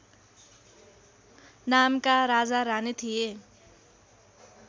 नामका राजारानी थिए